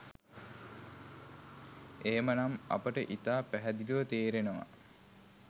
එහෙම නම් අපට ඉතා පැහැදිලිව තේරෙනවා